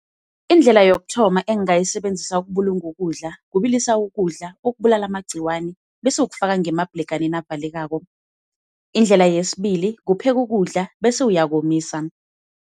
Indlela yokuthoma engingayisebenzisa ukubulunga ukudla kubilisa ukudla ukubulala amagciwani, bese ukufaka ngemabhleganeni avalekako. Indlela yesibili kupheka ukudla bese uyakomisa.